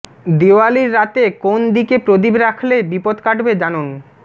দিওয়ালির রাতে কোন দিকে প্রদীপ রাখলে বিপদ কাটবে জানুন